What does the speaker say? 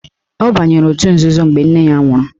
Ọ banyere otu nzuzo mgbe nne ya nwụrụ